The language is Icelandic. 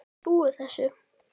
Ég trúi þessu.